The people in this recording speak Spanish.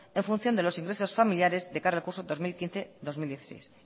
en función de los ingresos familiares de cara al curso dos mil quince dos mil dieciséis